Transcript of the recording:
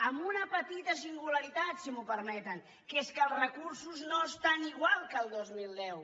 amb una petita singularitat si m’ho permeten que és que els recursos no estan igual que el dos mil deu